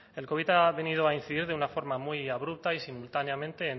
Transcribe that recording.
el covid ha venido a incidir de una forma muy abrupta y simultáneamente